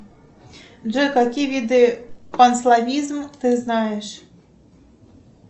джой какие виды панславизм ты знаешь